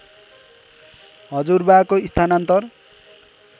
हजुरबाको स्थानान्तरण